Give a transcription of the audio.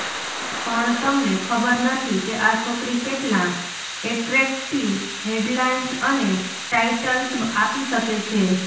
પણ તમને ખબર નથી કે આ છોકરી કેટલાં એટ્રેક્ટિવ હેડલાઈન્સ અને ટાઈટલ્સ આપી શકે છે